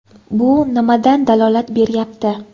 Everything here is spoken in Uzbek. Bu nimadan dalolat beryapti?